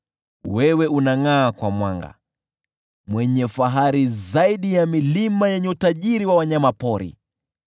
Wewe unangʼaa kwa mwanga, mwenye fahari zaidi ya milima yenye utajiri wa wanyama pori.